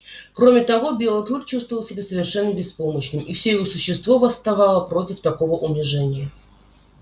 кроме того белый клык чувствовал себя совершенно беспомощным и все его существо восставало против такого унижения